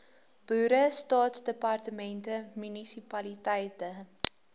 boere staatsdepartemente munisipaliteite